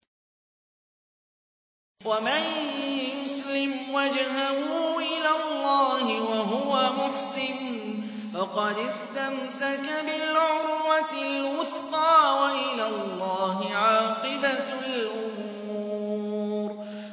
۞ وَمَن يُسْلِمْ وَجْهَهُ إِلَى اللَّهِ وَهُوَ مُحْسِنٌ فَقَدِ اسْتَمْسَكَ بِالْعُرْوَةِ الْوُثْقَىٰ ۗ وَإِلَى اللَّهِ عَاقِبَةُ الْأُمُورِ